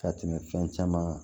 Ka tɛmɛ fɛn caman kan